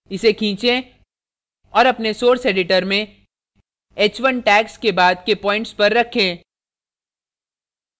इस खीचें और अपने source editor में h1 tags के बाद के प्वाइंट्स पर रखें